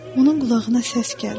Onun qulağına səs gəldi.